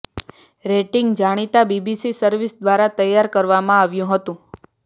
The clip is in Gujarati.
રેટિંગ જાણીતા બીબીસી સર્વિસ દ્વારા તૈયાર કરવામાં આવ્યું હતું